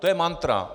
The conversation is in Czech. To je mantra.